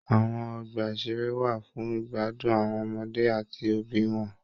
Àwọn ọgbà-ìṣeré wà fún igbadun àwọn ọmọdé áti òbí wọn.